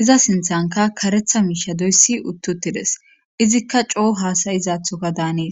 iza sinthanka karetha miishadoyssi uttu tides izikka coo haasayizaathoka daanees